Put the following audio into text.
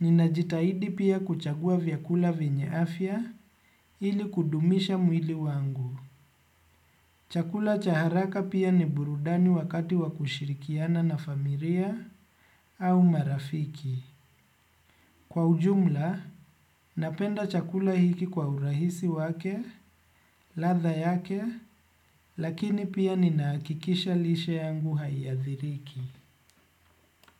ninajitahidi pia kuchagua vyakula vyenye afya ili kudumisha mwili wangu. Chakula cha haraka pia ni burudani wakati wa kushirikiana na familia au marafiki. Kwa ujumla, napenda chakula hiki kwa urahisi wake, latha yake, lakini pia ninahakikisha lishe yangu haiadhiriki.